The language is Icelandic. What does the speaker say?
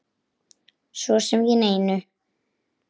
Svo sem ekki neinu.